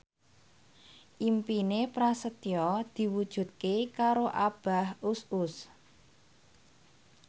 impine Prasetyo diwujudke karo Abah Us Us